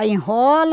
Aí enrola.